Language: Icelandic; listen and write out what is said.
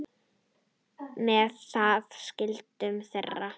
Með það skildu þeir.